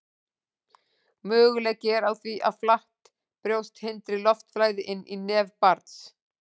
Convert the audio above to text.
Möguleiki er á því að flatt brjóst hindri loftflæði inn í nef barns.